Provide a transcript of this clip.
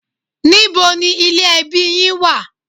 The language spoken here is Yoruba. Níbo ni ilé ẹbí yín wà?